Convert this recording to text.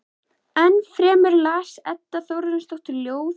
Ennfremur las Edda Þórarinsdóttir ljóð eftir